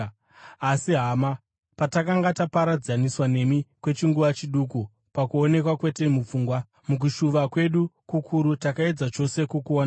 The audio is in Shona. Asi, hama, patakanga taparadzaniswa nemi kwechinguva chiduku (pakuonekwa, kwete mupfungwa), mukushuva kwedu kukuru takaedza chose kukuonai.